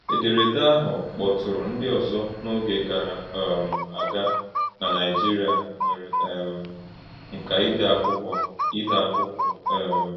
Ederede ahụ kpọtụrụ ndị ọzọ n’oge gara um aga n’Naịjirịa nwere um nka ide akwụkwọ. ide akwụkwọ. um